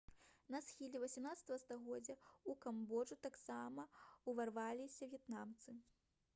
на схіле 18 стагоддзя ў камбоджу таксама ўварваліся в'етнамцы